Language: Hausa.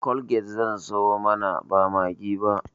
colgate zan siyo mana ba maggi ba